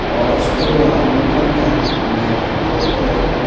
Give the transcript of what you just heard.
o school o ang nuk mankha naithok khe.